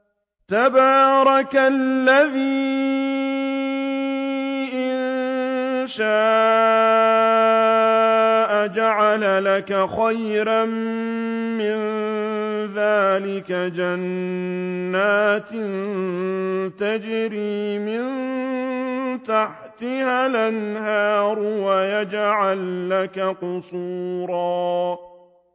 تَبَارَكَ الَّذِي إِن شَاءَ جَعَلَ لَكَ خَيْرًا مِّن ذَٰلِكَ جَنَّاتٍ تَجْرِي مِن تَحْتِهَا الْأَنْهَارُ وَيَجْعَل لَّكَ قُصُورًا